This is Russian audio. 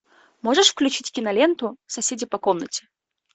можешь включить киноленту соседи по комнате